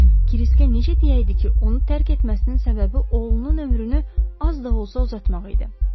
Kriskə necə deyəydi ki, onu tərk etməsinin səbəbi oğlunun ömrünü az da olsa uzatmaq idi?